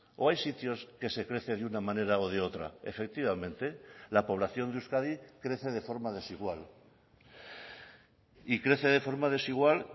o hay sitios que se crece de una manera o de otra efectivamente la población de euskadi crece de forma desigual y crece de forma desigual